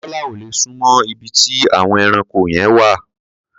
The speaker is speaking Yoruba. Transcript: Tọ́lá ò lè súnmọ́ ibi tí àwọn ẹranko yẹn wà.